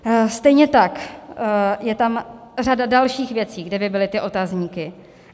Stejně tak je tam řada dalších věcí, kde by byly ty otazníky.